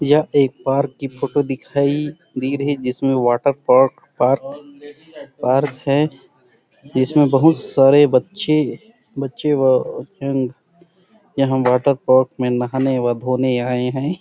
यह एक पार्क की फोटो दिखाई दे रही जिसमें वाटर पार्क है इसमें बहुत सारे बच्चे अ बच्चे यहाँ वाटर पार्क में नहाने व धोने आए हैं ।